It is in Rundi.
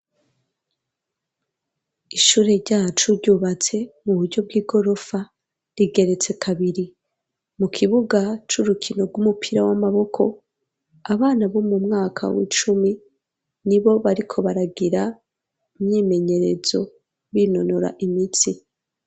Ishure ryacu, ryubatse mu buryo bw'igorofa, rigeretse kabiri; mu kibuga c'urukino, rw'umupira w'amaboko, abana bo mu mwaka w'icumi, nibo bariko baragira imyimenyerezo, binonora imitsi.